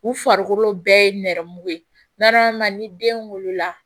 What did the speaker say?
U farikolo bɛɛ ye nɛrɛmugu ye ni den wolola